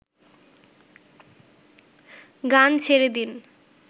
গান ছেড়ে দিন